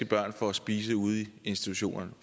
børn får at spise ude i institutionerne